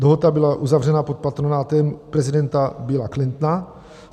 Dohoda byla uzavřena pod patronátem prezidenta Billa Clintona.